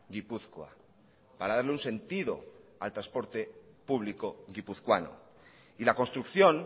gipuzkoa para darle un sentido al transporte público guipuzcoano y la construcción